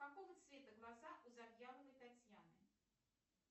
какого цвета глаза у завьяловой татьяны